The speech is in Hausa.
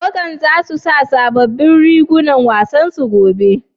Tawagan za su sa sabobbin rigunan wasan su gobe?